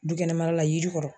Du kɛnɛma la yiri kɔrɔ